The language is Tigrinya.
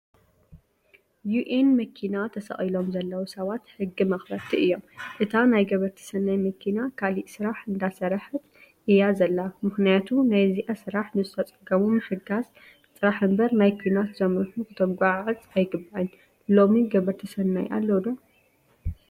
ዩኤን መኪና ተሰቂሎም ዘለው ሰባት ሕጊ መክበርቲ እዮም። እታ ናይ ገበርቲ ሰናይ መኪና ካሊእ ስራሕ እንዳሰረሐት እያ ዘላ ምክንያቱ ናይዚኣ ስራሕ ንዝተፀገሙ ምሕጋዝ ጥራሕ እምበር ናይ ኩናት ዘምርሑ ክትጉዓዓእ ኣይግባእን። ሎሚ ገበርቲ ሰናይ ኣለው ዶ?